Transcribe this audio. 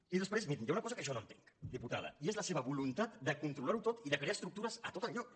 i després mirin hi ha una cosa que jo no entenc diputada i és la seva voluntat de controlar ho tot i de crear estructures a tots els llocs